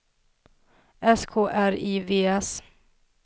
S K R I V S